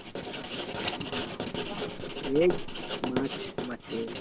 এই march মাসের